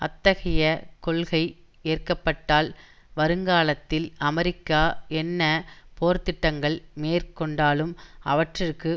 அத்தகைய கொள்கை ஏற்க பட்டால் வருங்காலத்தில் அமெரிக்கா என்ன போர்த்திட்டங்கள் மேற் கொண்டாலும் அவற்றிற்கு